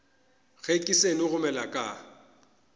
ge ke seno gomela ka